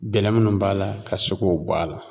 Gɛlɛ minnu b'a la ka se k'o bɔ a la